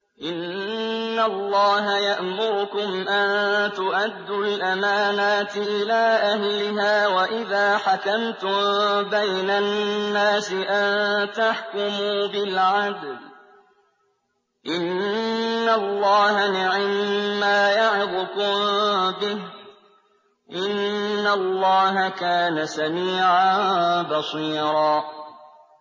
۞ إِنَّ اللَّهَ يَأْمُرُكُمْ أَن تُؤَدُّوا الْأَمَانَاتِ إِلَىٰ أَهْلِهَا وَإِذَا حَكَمْتُم بَيْنَ النَّاسِ أَن تَحْكُمُوا بِالْعَدْلِ ۚ إِنَّ اللَّهَ نِعِمَّا يَعِظُكُم بِهِ ۗ إِنَّ اللَّهَ كَانَ سَمِيعًا بَصِيرًا